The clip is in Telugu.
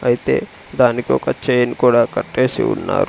అయితే దానికి ఒక చైన్ కూడా కట్టేసి ఉన్నారు.